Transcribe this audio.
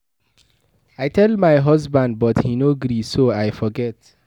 I tell my husband but he no gree so I forget